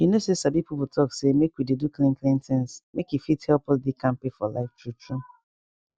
you know say sabi people talk say make we dey do clean clean things make e fit help us dey kampe for life true true